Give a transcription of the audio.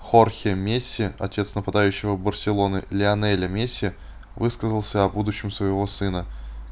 хорхе месси отец нападающего барселоны лионеля месси высказался о будущем своего сына